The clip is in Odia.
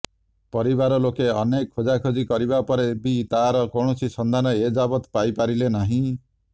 ପରିବାରଲୋକେ ଅନେକ ଖୋଜାଖୋଜି କରିବା ପରେ ବି ତାହାର କୌଣସି ସନ୍ଧାନ ଏଯାବତ ପାଇ ପାରିଲେ ନାହିଁ